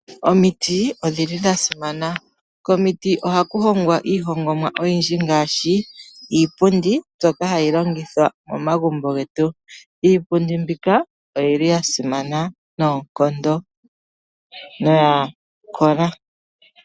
Omiti odhili dha simana. Komiti ohaku hongwa iihongomwa oyindji ngaashi, iipundi mbyoka hayi longithwa momagumbo getu. Iipundi mbika oyili ya simana noonkondo, noya kola.